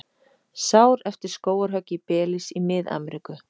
Sár eftir skógarhögg í Belís í Mið-Ameríku.